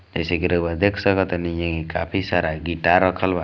जैसेकि रऊआ देख सकतानी येमें काफी सारा गिटार रखल बा।